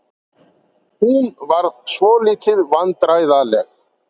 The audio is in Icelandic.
Hún varð svolítið vandræðaleg.